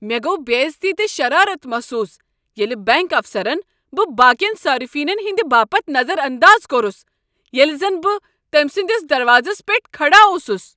مےٚ گوٚو بےٚعزتی تہٕ شرارتھ محسوٗس، ییٚلہ بنٛک افسرن بہٕ باقین صارفینن ہنٛدِ باپتھ نظر انداز کوٚرس، ییٚلہ زن بہٕ تٔمۍ سٕنٛدس دروازس پیٹھ کھڑا اوسُس۔